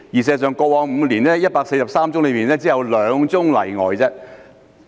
事實上，過往5年，在143宗案件中只有2宗例外。